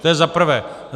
To je za prvé.